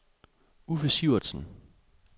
Uffe Sivertsen